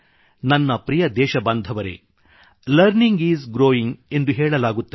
ನನ್ನ ಪ್ರಿಯ ದೇಶಬಾಂಧವರೆ ಲರ್ನಿಂಗ್ ಇಸ್ ಗ್ರೋವಿಂಗ್ ಎಂದು ಹೇಳಲಾಗುತ್ತದೆ